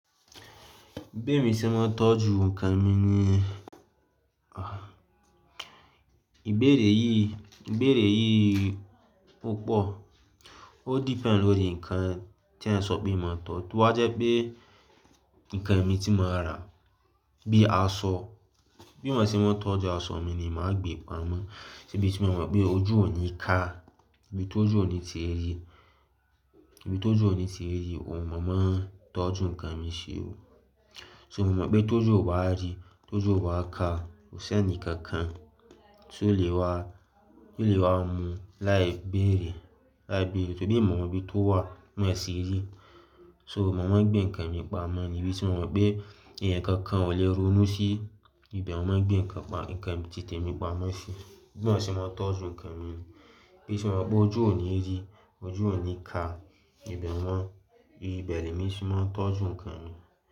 Bémi ṣe máa ń tọ́jú nǹkan mi nìyẹn, ìbéèrè yìí, ìbéèrè yìí púpọ̀, ó depend lórí nǹkan tí ẹeyan sọ pé mo máa tọ́jú. Tó bá jẹ́ pé nǹkan mi tí mo mo rà bíi aṣọ, bí mo ṣe máa tọ́jú aṣọ mi ni màá gbé pamọ́. Nibí tí mo mọ̀ pé ojú ò ní ká, nibí tójú ò ní tí rí, nibí tójú ò ní tí rí òun, màá máa tọ́jú nǹkan mi ṣi oh. So mo mọ̀ pé t' ojú ó bá rí, t' ojú ó bá ká, kò sí ẹnì kankan tí ó lè wa, tí ó lè wa mu láì béèrè, láì bi, ṣe bemí ni mo mọ̀ bí tó wà, mo ṣì rí. So màá máa gbé nǹkan mi pa mọ́ níbi tí mo mọ̀ pé ẹ̀eyàn kankan ò lè ronú sí ibẹ̀ ni màá gbé nǹkan pa, nǹkan ti te mi pa mọ́ sí i. Bí mo ṣe máa tọ́jú nǹkan mi ni. Ibí tí mo mọ̀ pé ojú ò ní rí, ojú ò ní ká ibẹ̀ ni mo máa ń, ibẹ̀ ni èmi sì máa tọ́jú nǹkan mi.